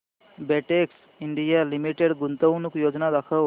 Betex India Limited गुंतवणूक योजना दाखव